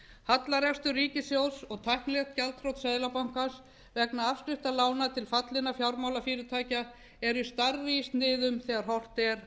hallarekstur ríkissjóðs og tæknilegt gjaldþrot seðlabankans vegna afskrifta lána til fallinna fjármálafyrirtækja eru stærri í sniðum þegar horft er